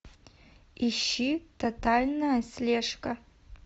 ищи тотальная слежка